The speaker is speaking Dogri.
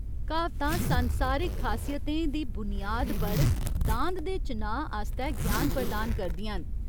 क्हावतां संसारिक खासियतें दी बुनियाद पर दांद दे चुनाऽ आस्तै ज्ञान प्रदान करदियां न।